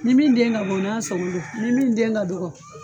Ni min den ka bon o n'a sɔgɔn do ni min den ka dɔgɔ